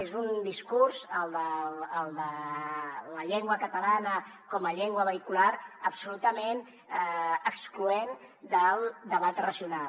és un discurs el de la llengua catalana com a llengua vehicular absolutament excloent del debat racional